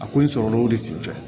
A ko in sɔrɔla o de sen fɛ